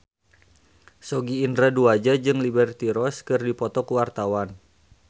Sogi Indra Duaja jeung Liberty Ross keur dipoto ku wartawan